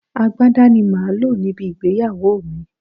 Agbádá ni màá lò níbi ìgbéyàwó mi